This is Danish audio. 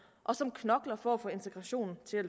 og som knokler for at få integrationen til at